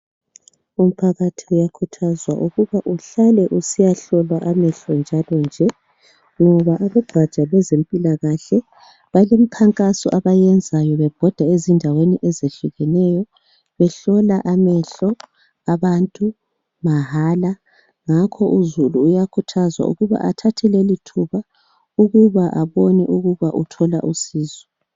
Umphakathi uyakhuthazwa ukuba uhlale usiya hlolwa amehlo njalo nje ngoba abegaja lwezempilakahle balemkhankaso abayenzayo bebhoda endaweni ezehlukeneyo. Behlola amehlo abantu mahala. Ngakho uzulu uyakhuthazwa ukuba athathe leli thuba ukuba abone ukuba uthola usizo.